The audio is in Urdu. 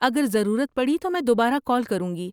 اگر ضرورت پڑی تو میں دوبارہ کال کروں گی۔